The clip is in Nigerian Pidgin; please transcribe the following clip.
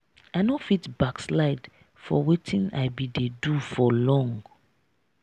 i no fit backslide for wetin i been dey do for long now.